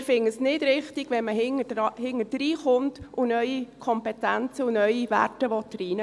Wir finden es nicht richtig, wenn man hinterher kommt und neue Kompetenzen und Werte reingeben will.